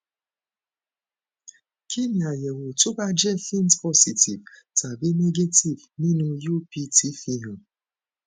kí ni àyẹwò tó bá jẹ faint positive tàbi negative nínú upt fihàn